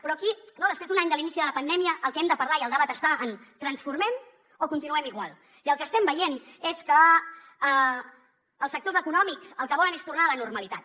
però aquí no després d’un any de l’inici de la pandèmia del que hem de parlar i el debat està en transformem o continuem igual i el que estem veient és que els sectors econòmics el que volen és tornar a la normalitat